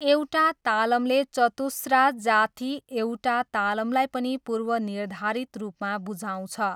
एउटा तालमले चतुस्रा जाथी एउटा तालमलाई पनि पूर्वनिर्धारित रूपमा बुझाउँछ।